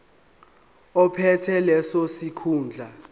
ophethe leso sikhundla